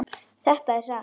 Þetta er satt!